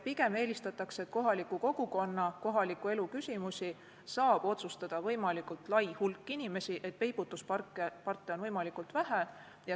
Pigem eelistatakse, et kohaliku kogukonna ja kohaliku elu küsimusi saaks otsustada võimalikult lai hulk inimesi ning et peibutusparte oleks võimalikult vähe.